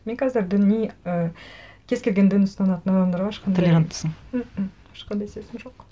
мен қазір діни ы кез келген дін ұстанатын адамдарға ешқандай толеранттысың мқм ешқандай сезім жоқ